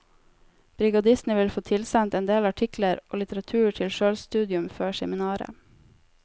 Brigadistene vil få tilsendt en del artikler og litteratur til sjølstudium før seminaret.